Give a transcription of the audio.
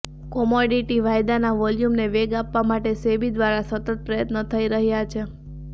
commodity વાયદાના વોલ્યુમને વેગ આપવા માટે સેબી દ્વારા સતત પ્રયત્નો થઈ રહ્યાં છે